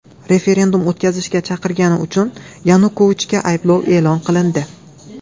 Referendum o‘tkazishga chaqirgani uchun Yanukovichga ayblov e’lon qilindi.